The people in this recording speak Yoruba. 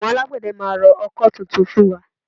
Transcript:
Àwọn Alágbẹ̀dẹ máa rọ ọkọ́ tuntun fún wa